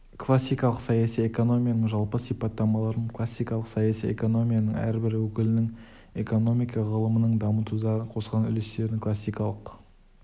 классикалық саяси экономияның жалпы сипаттамаларын классикалық саяси экономияның әрбір өкілінің экономика ғылымын дамытудағы қосқан үлестерін классикалық